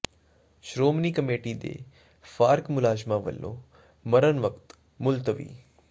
Shiromani committee ਦੇ ਫਾਰਗ ਮੁਲਾਜ਼ਮਾਂ ਵੱਲੋਂ ਮਰਨ ਵਰਤ ਮੁਲਤਵੀ